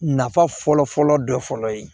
Nafa fɔlɔ fɔlɔ dɔ fɔlɔ ye